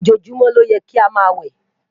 ojojumọ ló yè ká má wẹ